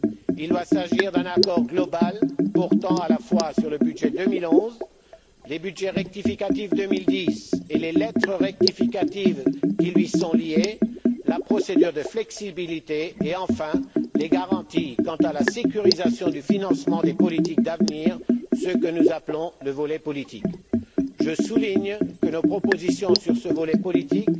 Il doit s'agir d'un accord global portant à la fois sur le budget 2011, les budgets rectificatifs 2010 et les lettres rectificatives qui lui sont liées, la procédure de flexibilité et, enfin, les garanties quant à la sécurisation du financement des politiques d'avenir, ce que nous appelons le volet politique. Je souligne que nos propositions sur ce volet politique